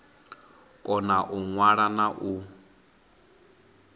kona u ṅwala na u